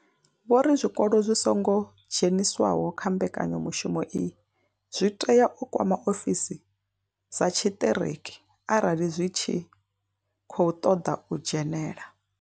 Vho ri zwikolo zwi songo dzheniswaho kha mbekanyamushumo iyi zwi tea u kwama ofisi dza tshiṱereke arali dzi tshi khou ṱoḓa u dzhenela.